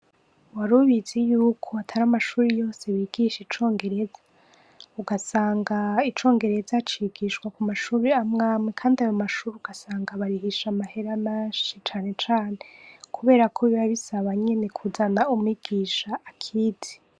Warubizi yuko atari amashure yose bigisha icongereza? Ugasanga icongereza cigishwa kumashure amwamwe kandi ayo amashure ugasanga barihisha amahera menshi canecane kuberako biba bisaba nyene kuzana umwigisha akizi.